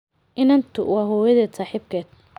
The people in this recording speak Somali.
Inantu waa hooyadeed saaxiibkeed.